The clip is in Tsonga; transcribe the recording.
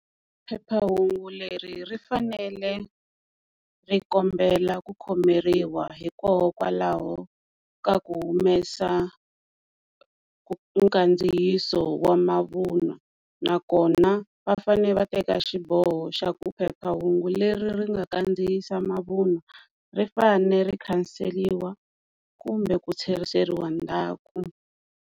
Phephahungu leri ri fanele ri kombela ku khomeriwa hikokwalaho ka ku humesa nkandziyiso wa mavunwa ina nakona va fane va teka xiboho xa ku phephahungu leri ri nga kandziyisa mavunwa ri fanele ri khanseriwa kumbe ku tlheriseriwa ndzhaku.